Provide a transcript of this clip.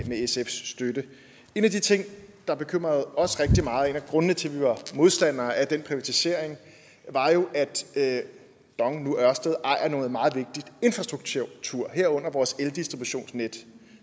sfs støtte en af de ting der bekymrede os rigtig meget og grundene til at vi var modstandere af den privatisering var jo at dong nu ørsted ejer noget meget vigtig infrastruktur herunder vores eldistributionsnet